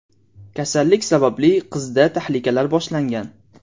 Kasallik sababli qizda tahlikalar boshlangan.